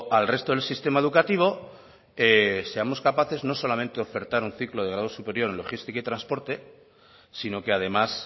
al resto del sistema educativo seamos capaces no solamente de ofertar un ciclo de grado superior en logística y transporte sino que además